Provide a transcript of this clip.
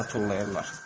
Qayçı tullayırlar.